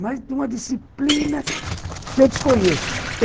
Mas de uma disciplina que eu desconheço.